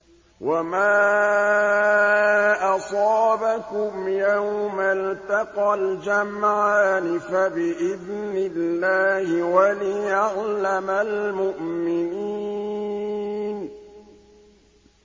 وَمَا أَصَابَكُمْ يَوْمَ الْتَقَى الْجَمْعَانِ فَبِإِذْنِ اللَّهِ وَلِيَعْلَمَ الْمُؤْمِنِينَ